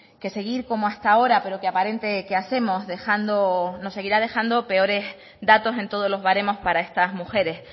que seguir como hasta ahora pero que aparente que hacemos nos seguirá dejando peores datos en todos los baremos para estas mujeres